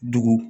Dugu